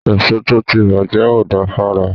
Èso tó ti bàjẹ́ ò da fára.